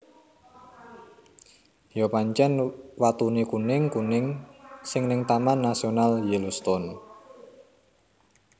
Yo pancen watune kuning kuning sing ning Taman Nasional Yellowstone